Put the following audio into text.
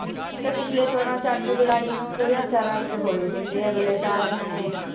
ਤੇ ਪਿੱਛਲੇ ਚੋਣਾਂ 'ਚ ਅੱਠ ਜੁਲਾਈ ਨੂੰ ਦੋ ਹਜ਼ਾਰ ਚਾਰ ਵਿੱਚ ਹੋਏ ਸੀ ਤੇ ਅਗਲੇ ਸਾਲ ਹੁਣ